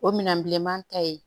O minɛn bilenman ta ye